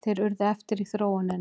Þeir urðu eftir í þróuninni.